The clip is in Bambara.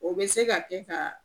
O be se ka kɛ ka